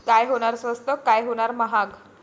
काय होणार स्वस्त, काय होणार महाग?